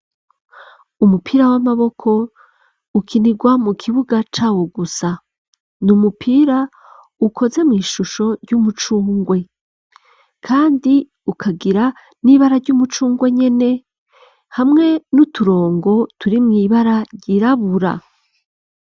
Umupira w'amaboko ukinirwa mu kibuga cawo gusa ni umupira ukoze mw ishusho ry'umucungwe kandi ukagira n'ibara ry'umucungwe nyene hamwe n'uturongo turimwo ibara ryirabura.